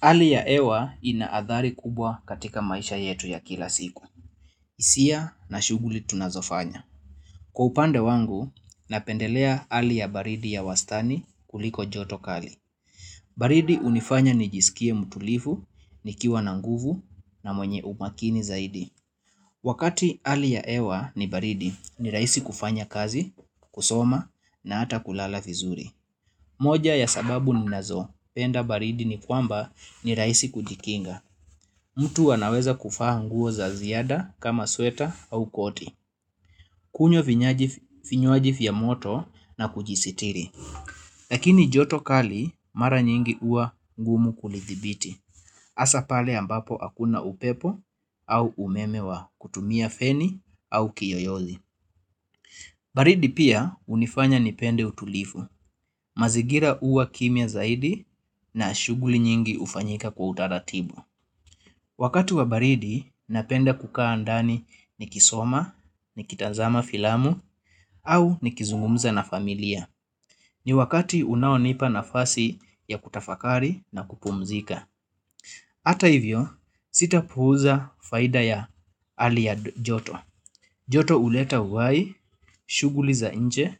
Hali ya hewa ina athari kubwa katika maisha yetu ya kila siku. Hisia na shughuli tunazofanya. Kwa upande wangu, napendelea hali ya baridi ya wastani kuliko joto kali. Baridi hunifanya nijisikie mutulivu, nikiwa na nguvu na mwenye umakini zaidi. Wakati hali ya hewa ni baridi, ni rahisi kufanya kazi, kusoma na hata kulala vizuri. Moja ya sababu ninazopenda baridi ni kwamba ni rahisi kujikinga. Mtu anaweza kuvaa nguo za ziada kama sweta au koti. Kunywa vinywaji vya moto na kujisitiri. Lakini joto kali mara nyingi huwa ngumu kulidhibiti. Hasa pale ambapo hakuna upepo au umeme wa kutumia feni au kiyoyozi. Baridi pia unifanya nipende utulifu. Mazingira huwa kimya zaidi na shughuli nyingi hufanyika kwa utaratibu. Wakati wa baridi, napenda kukaa ndani nikisoma, ni kitazama filamu, au nikizungumza na familia. Ni wakati unaonipa nafasi ya kutafakari na kupumzika. Hata hivyo, sitapuuza faida ya hali ya joto. Joto huleta uhai, shughuli za nje,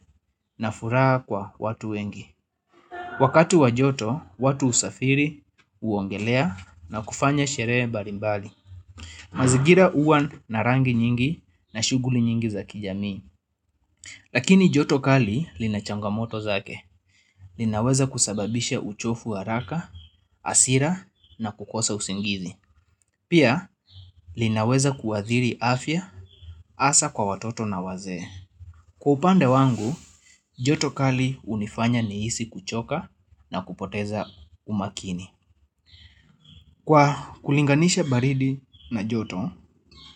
na furaha kwa watu wengi. Wakati wa joto, watu husafiri, huogelea na kufanya sherehe mbalimbali. Mazingira huwa na rangi nyingi na shughuli nyingi za kijamii. Lakini joto kali lina changamoto zake. Linaweza kusababisha uchofu haraka, hasira na kukosa usingizi. Pia linaweza kuadhiri afya, hasa kwa watoto na wazee. Kwa upande wangu, joto kali hunifanya nihisi kuchoka na kupoteza umakini. Kwa kulinganisha baridi na joto,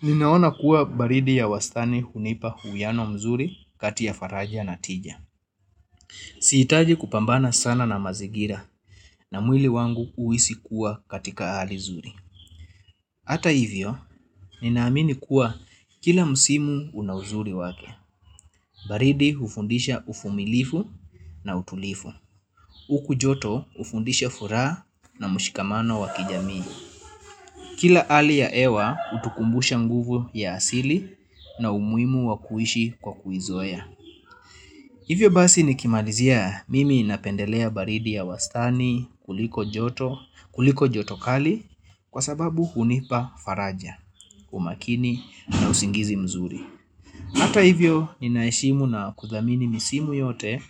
ninaona kuwa baridi ya wastani hunipa uwiano mzuri kati ya faraja na tija. Sihitaji kupambana sana na mazingira na mwili wangu huisi kuwa katika hali zuri. Hata hivyo, ninaamini kuwa kila msimu una uzuri wake. Baridi hufundisha uvumilifu na utulivu. Huku joto hufundisha furaha na mshikamano wa kijamii. Kila hali ya hewa hutukumbusha nguvu ya asili na umuhimu wa kuishi kwa kuizoea. Hivyo basi nikimalizia mimi napendelea baridi ya wastani kuliko joto kali kwa sababu hunipa faraja, umakini na usingizi mzuri. Hata hivyo ninaheshimu na kudhamini misimu yote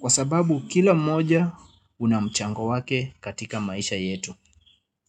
kwa sababu kila mmoja una mchango wake katika maisha yetu.